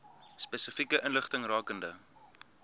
spesifieke inligting rakende